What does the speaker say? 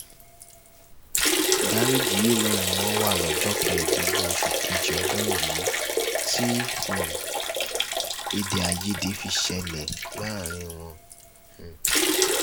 gàréèjì yìí náà ni wọ́n wà lọ́jọ́ kẹẹ̀ẹ́dógún oṣù kejì ọdún yìí tí um èdè àìyedè fi ṣẹlẹ̀ um láàrin wọn